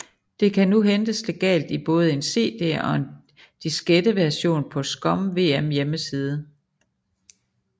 Det kan nu hentes legalt i både en CD og en diskette version på ScummVM hjemmeside